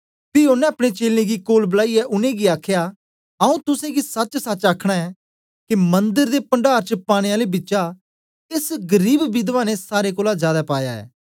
पी ओनें अपने चेलें गी कोल बलाईयै उनेंगी आखया आऊँ तुसेंगी सचसच आखना ऐं के मंदर दे पण्डार च पाने आले बिचा एस गरीब विधवा ने सारे कोलां जादै पाया ऐ